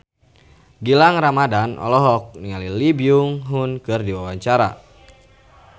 Gilang Ramadan olohok ningali Lee Byung Hun keur diwawancara